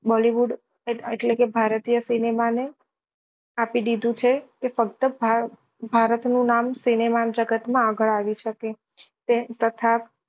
bollywood એટલે કે ભારતીય cinema ને આપી દીધું છે કે ફક્ત ભાભારત નું નામ cinema જગત માં આગળ આવી શકે તે તથા